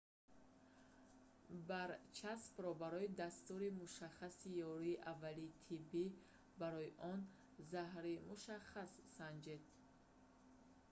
барчаспро барои дастури мушаххаси ёрии аввалини тиббӣ барои он заҳри мушаххас санҷед